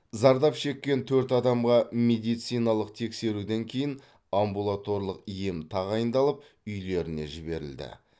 зардап шеккен төрт адамға медициналық тексеруден кейін амбулаторлық ем тағайындалып үйлеріне жіберілді